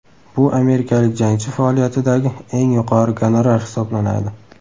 Bu amerikalik jangchi faoliyatidagi eng yuqori gonorar hisoblanadi.